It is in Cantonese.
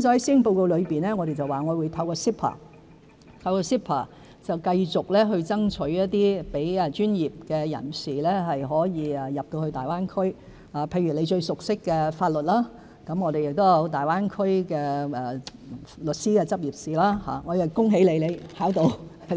在施政報告中，我說會透過 CEPA 繼續爭取讓專業人士進入大灣區市場，譬如容議員最熟識的法律業務方面，我們有大灣區律師的執業試——我也恭喜容議員已通過